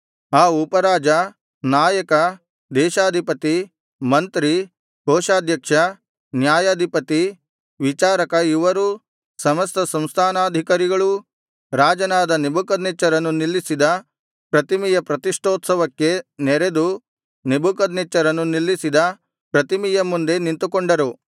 ಆ ಉಪರಾಜ ನಾಯಕ ದೇಶಾಧಿಪತಿ ಮಂತ್ರಿ ಕೋಶಾಧ್ಯಕ್ಷ ನ್ಯಾಯಾಧಿಪತಿ ವಿಚಾರಕ ಇವರೂ ಸಮಸ್ತ ಸಂಸ್ಥಾನಾಧಿಕಾರಿಗಳೂ ರಾಜನಾದ ನೆಬೂಕದ್ನೆಚ್ಚರನು ನಿಲ್ಲಿಸಿದ ಪ್ರತಿಮೆಯ ಪ್ರತಿಷ್ಠೋತ್ಸವಕ್ಕೆ ನೆರೆದು ನೆಬೂಕದ್ನೆಚ್ಚರನು ನಿಲ್ಲಿಸಿದ ಪ್ರತಿಮೆಯ ಮುಂದೆ ನಿಂತುಕೊಂಡರು